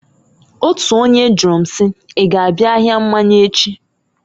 Otu onye jụrụ m si, "I g'abịa ahịa mmanya echi?"